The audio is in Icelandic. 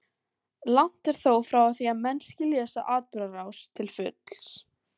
Langt er þó frá því að menn skilji þessa atburðarás til fulls.